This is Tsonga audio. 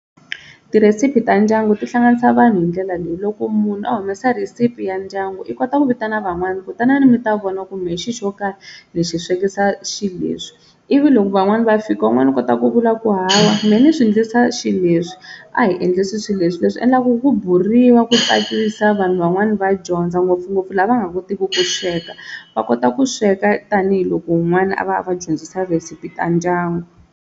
Tirhesiphi ta ndyangu ti hlanganisa vanhu hi ndlela leyi loko munhu a humesa recipe ya ndyangu i kota ku vitana van'wani ku tanani mi ta vona kumbe hi xi xo karhi ni swi swekisa xileswi, ivi loko van'wani va fika un'wana u kota ku vula ku hawa mehe ni swi ndlisa xileswi a hi endlisi xileswi leswi endlaku ku buriwaka ku tsakisa vanhu van'wani va dyondza ngopfungopfu lava nga kotiki ku sweka va kota ku sweka tanihiloko un'wana a va a va dyondzisa recipe ta ndyangu.